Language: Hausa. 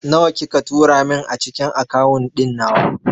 Nawa kika tura min a cikin akawun ɗin nawa?